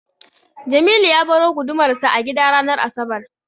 Jamilu ya baro gudumarsa a gida ranar asabar.